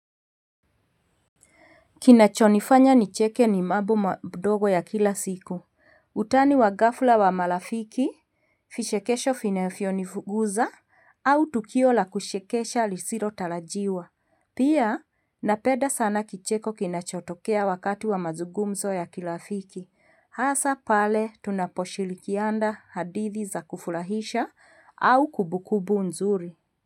Kinachonifanya nicheke ni mabo madogo ya kila siku Utani wa ghafula wa marafiki vishekesho finefio nifuguza au tukio la kushekesha lisiro talajiwa Pia napeda sana kicheko kinachotokea wakati wa mazugumzo ya kilafiki Hasa pale tunaposhilikiana hadithi za kufurahisha au kumbukumbu nzuri.